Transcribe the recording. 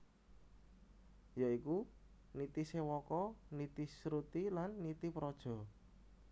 Ya iku Nitisewaka Nitisruti lan Nitipraja